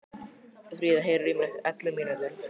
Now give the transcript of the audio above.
Frida, heyrðu í mér eftir ellefu mínútur.